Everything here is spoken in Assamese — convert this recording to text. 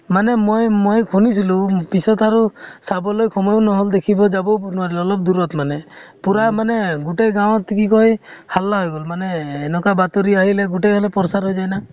মানে মই ম, খুনিছিলো পিছত আৰু চাবলৈ সময়ো নহʼল দেখিব যাবও নোৱাৰিলো, অলপ দুৰত মানে । পুৰা মানে গোটেই গোঁ ত কি কয় হাল্লা হৈ গʼল । মানে এনেকুৱা বাতৰি আহিলে গোটেই মানে প্ৰচাৰ হৈ যায় না ।